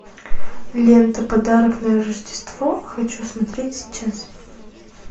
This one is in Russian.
лента подарок на рождество хочу смотреть сейчас